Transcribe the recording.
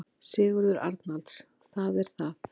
Sigurður Arnalds: Það er það.